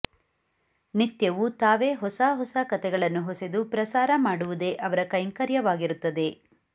ನಿತ್ಯವೂ ತಾವೇ ಹೊಸ ಹೊಸ ಕಥೆಗಳನ್ನು ಹೊಸೆದು ಪ್ರಸಾರ ಮಾಡುವುದೇ ಅವರ ಕೈಂಕರ್ಯವಾಗಿರುತ್ತದೆ